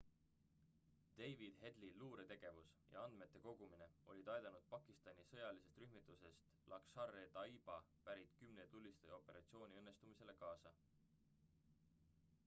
david headley luuretegevus ja andmete kogumine olid aidanud pakistani sõjalisest rühmitusest laskhar-e-taiba pärit 10 tulistaja operatsiooni õnnestumisele kaasa